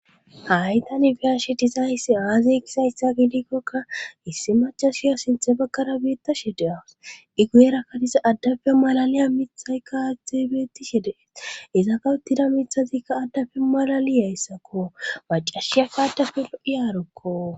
haytanibiyashi dizayssi aazeykisayssa gidikkokka issi macashiya sinthe bakkara beitta shedeawus igu7erakkadiza addabea malaliya mithaykka xeebetti shedee iza kawuttida mithazikka addabe malali yayssakko wacashiya kaadafe lo7i aarokko